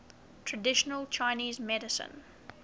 traditional chinese medicine